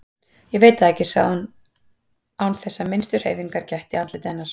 Ég veit það ekki, sagði hún án þess að minnstu hreyfingar gætti í andliti hennar.